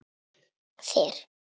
Bara liggja hjá þér.